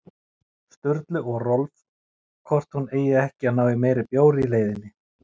Sturlu og Rolf hvort hún eigi ekki að ná í meiri bjór í leiðinni.